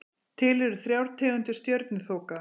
Til eru þrjár tegundir stjörnuþoka.